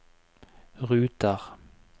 ruter